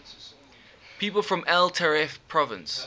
people from el taref province